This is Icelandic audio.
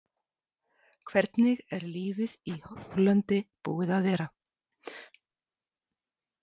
Hvernig er lífið úti í Hollandi búið að vera?